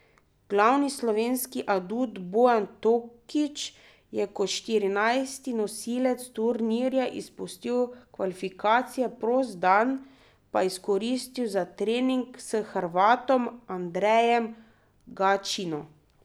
Glavni slovenski adut Bojan Tokič je kot štirinajsti nosilec turnirja izpustil kvalifikacije, prost dan pa izkoristil za trening s Hrvatom Andrejem Gaćino.